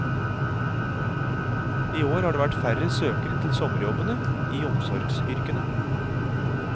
I år har det vært færre søkere til sommerjobbene i omsorgsyrkene.